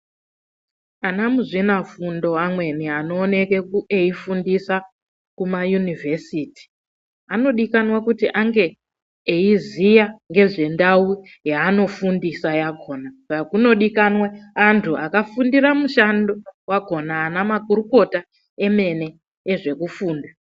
Anamuzvinafundo amweni anooneke eifundisa kumayunivhesiti, anodikanwa kuti ange eziya ngezvendau yaanofundisa yakhona. Saka kunodikanwe antu akafundira mushando wakhona, anamakurukota emene ezvekufunda.